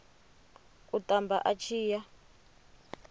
u tamba a tshi ya